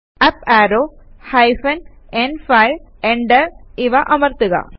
up arrow hyphen ന്5 enter ഇവ അമർത്തുക